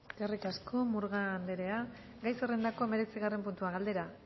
eskerrik asko murga anderea gai zerrendako hemeretzigarren puntua galdera